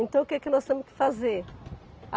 Então o que que nós temos que fazer?